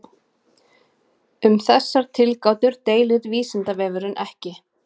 Um þessar tilgátur deilir Vísindavefurinn ekki.